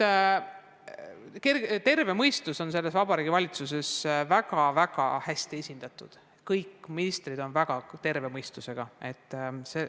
Aga terve mõistus on selles Vabariigi Valitsuses väga hästi esindatud, kõik ministrid on väga terve mõistusega.